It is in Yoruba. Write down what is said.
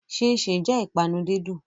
Ṣínṣìn jẹ́ ìpanu dídùn.